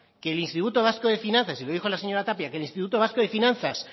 que el instituto vasco de finanzas y lo dijo la señora tapia que el instituto vasco de finanzas